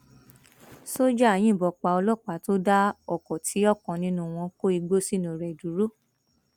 ṣọjà yìnbọn pa ọlọpàá tó dá ọkọ tí ọkan nínú wọn kó igbó sínú rẹ dúró